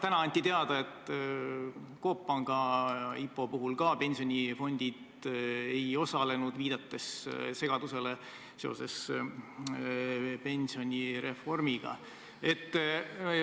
Täna anti teada, et ka Coop Panga IPO puhul pensionifondid ei osalenud, viidati pensionireformiga seoses tekkinud segadusele.